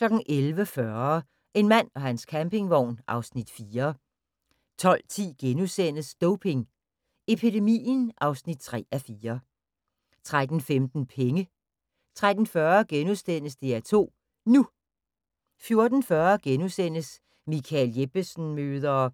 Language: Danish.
11:40: En mand og hans campingvogn (Afs. 4) 12:10: Doping epidemien (3:4)* 13:15: Penge 13:40: DR2 NU * 14:40: Michael Jeppesen møder ...